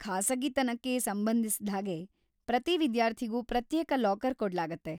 ಖಾಸಗಿತನಕ್ಕೆ ಸಂಬಂಧಿಸಿದ್ಹಾಗೆ, ಪ್ರತಿ ವಿದ್ಯಾರ್ಥಿಗೂ ಪ್ರತ್ಯೇಕ ಲಾಕರ್‌ ಕೊಡ್ಲಾಗುತ್ತೆ.